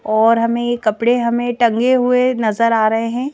और हमें कपड़े हमें टंगे हुए नजर आ रहे हैं।